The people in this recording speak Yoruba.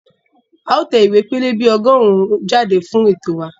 A ó tẹ ìwé pẹlẹbẹ ọgọ́rùn-ún jáde fún ètò wa